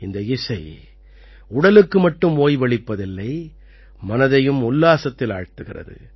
இந்த இசை உடலுக்கு மட்டும் ஓய்வளிப்பதில்லை மனதையும் உல்லாசத்தில் ஆழ்த்துகிறது